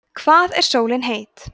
hvað er sólin heit